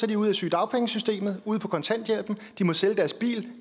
de ude af sygedagpengesystemet og på kontanthjælp og de må sælge deres bil